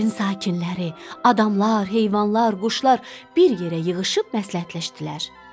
Yerin sakinləri, adamlar, heyvanlar, quşlar bir yerə yığışıb məsləhətləşdilər.